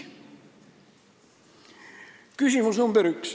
Küsimus nr 1.